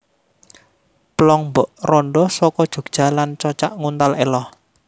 Plong Mbok Randha Saka Jogja lan Cocak Nguntal Elo